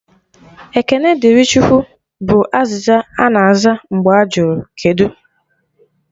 "Ekene dịrị Chukwu" bụ azịza ana aza mgbe ajụrụ "kedụ"